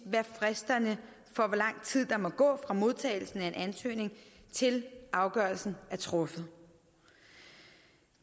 fristerne for hvor lang tid der må gå fra modtagelsen af en ansøgning til afgørelsen er truffet